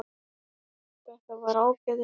Þetta var ágætis eintak